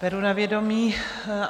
Beru na vědomí.